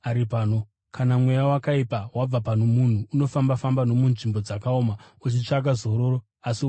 “Kana mweya wakaipa wabva pano munhu, unofamba-famba nomunzvimbo dzakaoma uchitsvaka zororo asi unorishaya.